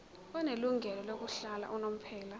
onelungelo lokuhlala unomphela